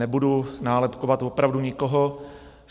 Nebudu nálepkovat opravdu nikoho.